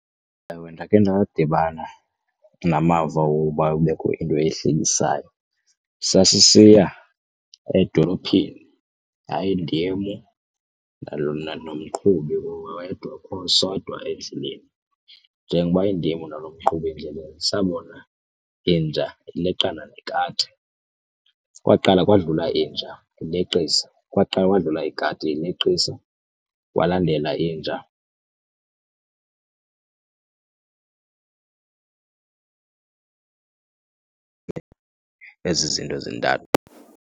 Ewe, ndakhe ndadibana namava woba kubekho into ehlekisayo. Sasisiya edolophini, yayindim nomqhubi wedwa sodwa . Njengoba indim nalo mqhubi endleleni sabona inja ileqana nekati, kwaqala kwadlula inja uleqia kwaqala wadlula ikadi ileqisa kwalandelwa inja. Ezi zinto zintathu.